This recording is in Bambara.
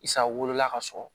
Isa wolola ka sɔrɔ